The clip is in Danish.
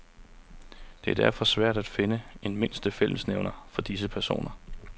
Det er derfor svært at finde en mindste fællesnævner for disse personer.